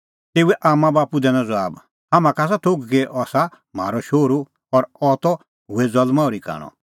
तेऊए आम्मांबाप्पू दैनअ ज़बाब हाम्हां का आसा थोघ कि अह आसा म्हारअ शोहरू और अह त हुऐ ज़ल्मां ओर्ही कांणअ